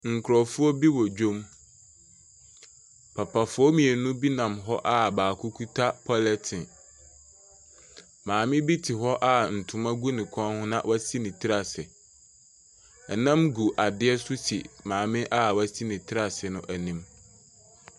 Nkurɔfoɔ bi wɔ dwa mu, papafoɔ mmienu bi nam hɔ a baako kita polythene, maame te hɔ a ntoma gu n kɔn na wasi ne tiri ase. Nam gu adeɛ so si maame a wasi ne tiri ase no anim.